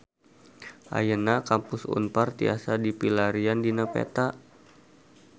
Ayeuna Kampus Unpar tiasa dipilarian dina peta